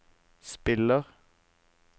spiller